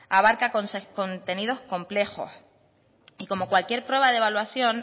abarca contenidos complejos y como cualquier prueba de evaluación